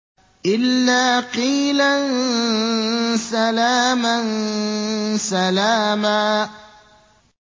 إِلَّا قِيلًا سَلَامًا سَلَامًا